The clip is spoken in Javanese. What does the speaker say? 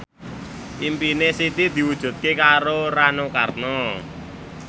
impine Siti diwujudke karo Rano Karno